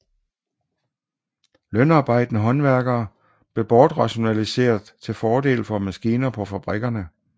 Lønarbejdende håndværkere blev bortrationaliseret til fordel for maskiner på fabrikkerne